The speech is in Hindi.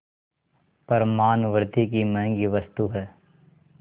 पर मानवृद्वि की महँगी वस्तु है